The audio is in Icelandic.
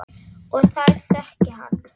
Og þær þekki hann.